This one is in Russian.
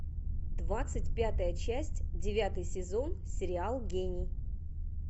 двадцать пятая часть девятый сезон сериал гений